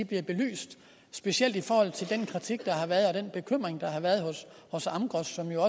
bliver belyst specielt i forhold til den kritik der har været og den bekymring der har været hos amgros som jo